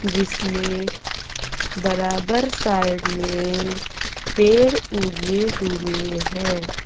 जिसमें बराबर साइड में पेड़ उगे हुए हैं।